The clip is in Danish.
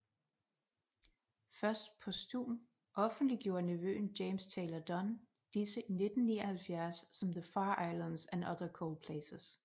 Først posthum offentliggjorte nevøen James Taylor Dunn disse i 1979 som The Far Islands and other cold places